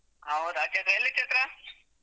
ಹೌದ, ಎಲ್ಲಿ ಚೈತ್ರ.